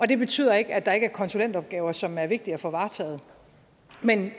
det betyder ikke at der ikke er konsulentopgaver som er vigtige at få varetaget men